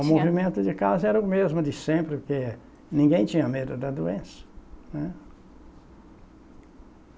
O movimento de casa era o mesmo de sempre, porque ninguém tinha medo da doença, né.